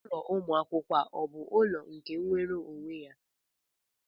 Ulọ Ụmụ akwụkwọ a ọ bụ ụlọ nke nwere onwe ya?